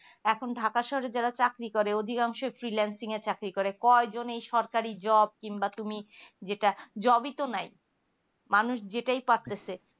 এখন ঢাকা শহরের যারা চাকরি করে অধীনকানসো finalsing এর চাকরি করে কয় জন এই সরকারি job কিংবা বা তুমি যেটা job ই তো নাই মানুষ যেটাই পাইতেছে